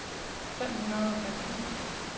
fem hundrede og femten